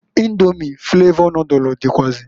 Indomi flavọ nodulu dịkwuazi.